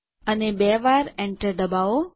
અને બે વાર એન્ટર દબાવો